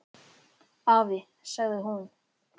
Afi, sagði hún.